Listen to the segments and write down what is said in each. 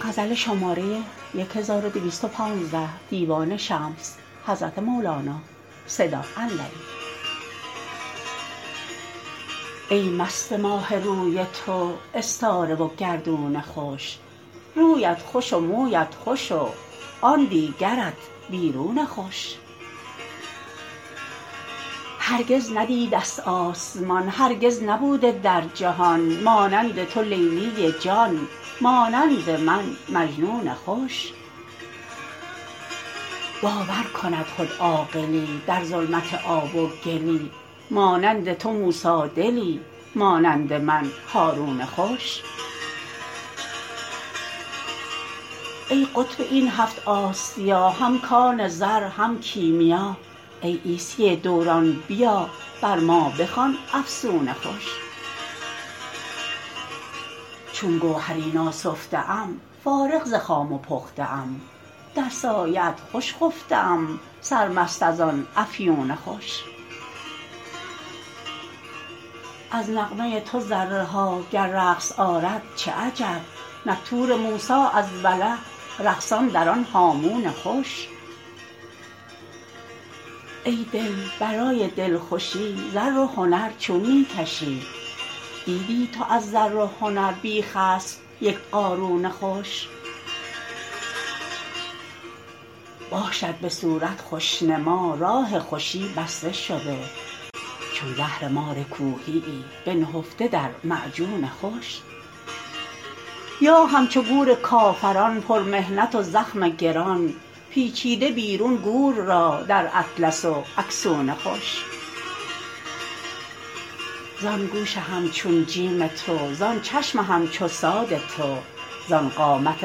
ای مست ماه روی تو استاره و گردون خوش رویت خوش و مویت خوش و آن دیگرت بیرون خوش هرگز ندیده ست آسمان هرگز نبوده در جهان مانند تو لیلی جان مانند من مجنون خوش باور کند خود عاقلی در ظلمت آب و گلی مانند تو موسی دلی مانند من هارون خوش ای قطب این هفت آسیا هم کان زر هم کیمیا ای عیسی دوران بیا بر ما بخوان افسون خوش چون گوهری ناسفته ام فارغ ز خام و پخته ام در سایه ات خوش خفته ام سرمست از آن افیون خوش از نغمه ی تو ذره ها گر رقص آرد چه عجب نک طور موسی از وله رقصان در آن هامون خوش ای دل برای دلخوشی زر و هنر چون می کشی دیدی تو از زر و هنر بی خسف یک قارون خوش باشد به صورت خوش نما راه خوشی بسته شده چون زهر مار کوهیی بنهفته در معجون خوش یا همچو گور کافران پرمحنت و زخم گران پیچیده بیرون گور را در اطلس و اکسون خوش زان گوش همچون جیم تو زان چشم همچو صاد تو زان قامت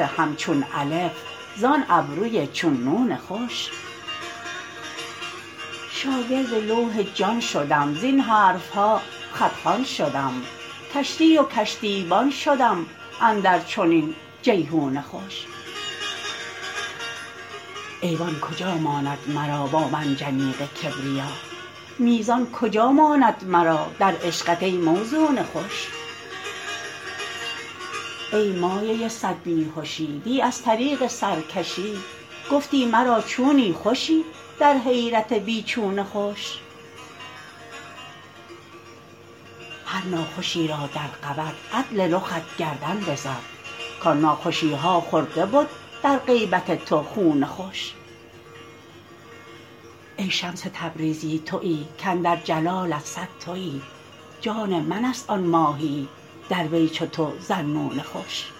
همچون الف زان ابروی چون نون خوش شاگرد لوح جان شدم زین حرف ها خط خوان شدم کشتی و کشتی بان شدم اندر چنین جیحون خوش ایوان کجا ماند مرا با منجنیق کبریا میزان کجا ماند مرا در عشقت ای موزون خوش ای مایه ی صد بی هشی دی از طریق سرکشی گفتی مرا چونی خوشی در حیرت بی چون خوش هر ناخوشی را در قود عدل رخت گردن بزد کان ناخوشی ها خورده بد در غیبت تو خون خوش ای شمس تبریزی توی کاندر جلالت صد توی جان منست آن ماهیی در وی چو تو ذالنون خوش